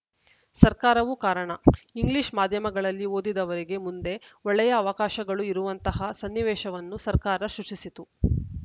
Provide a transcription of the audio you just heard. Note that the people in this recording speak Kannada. ಸರ್ಕಾರವೂ ಕಾರಣ ಇಂಗ್ಲಿಷ್‌ ಮಾಧ್ಯಮಗಳಲ್ಲಿ ಓದಿದವರಿಗೆ ಮುಂದೆ ಒಳ್ಳೆಯ ಅವಕಾಶಗಳು ಇರುವಂತಹ ಸನ್ನಿವೇಶವನ್ನು ಸರ್ಕಾರ ಸೃಷ್ಟಿಸಿತು